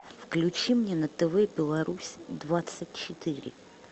включи мне на тв беларусь двадцать четыре